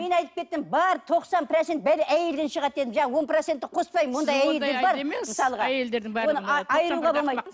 мен айтып кеттім бар тоқсан процент бәле әйелден шығады дедім жаңағы он процентті қоспаймын